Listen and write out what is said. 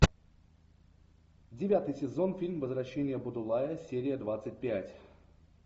девятый сезон фильм возвращение будулая серия двадцать пять